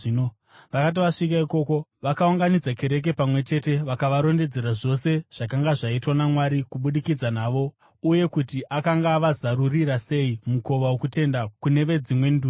Vakati vasvika ikoko, vakaunganidza kereke pamwe chete vakavarondedzera zvose zvakanga zvaitwa naMwari kubudikidza navo uye kuti akanga avazarurira sei mukova wokutenda kune veDzimwe Ndudzi.